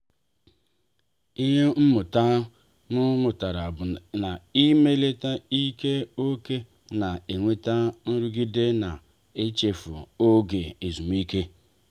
ịhe mmụta m mụtara bụ na- ịmefe ike ókè na-enweta nrụgide na-ichefu oge ezumike.